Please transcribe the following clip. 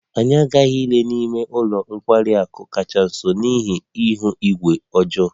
Anyị aghaghị ịlele n'ime ụlọ nkwari akụ kacha nso n'ihi ihu igwe ọjọọ